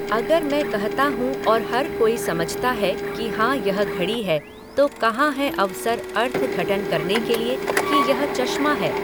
अगर मैं कहता हूँ और हर कोई समझता है कि हाँ यह घड़ी है तो कहां है अवसर अर्थघटन करने के लिए कि यह चशमा है?